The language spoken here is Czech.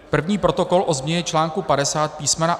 První protokol o změně článku 50 písm.